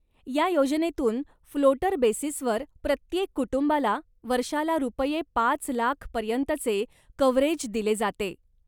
या योजनेतून फ्लोटर बेसिसवर प्रत्येक कुटुंबाला वर्षाला रु. पाच लाख पर्यंतचे कव्हरेज दिले जाते.